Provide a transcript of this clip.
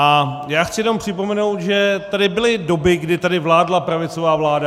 A já chci jenom připomenout, že tady byly doby, kdy tady vládla pravicová vláda.